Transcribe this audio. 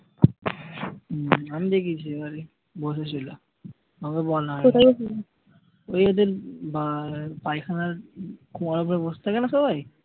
হম আমি দেখেছি এবারে বসে ছিল। কাউকে বলা হয়নি ওই এদের পায়খানার কুয়ার উপরে বসে থাকে না সবাই?